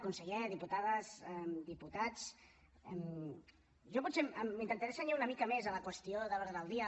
conseller diputades diputats jo potser m’intentaré cenyir una mica més a la qüestió de l’ordre del dia